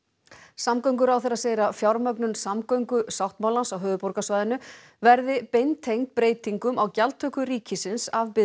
samgönguráðherra segir að fjármögnun samgöngusáttmálans á höfuðborgarsvæðinu verði beintengd breytingum á gjaldtöku ríkisins af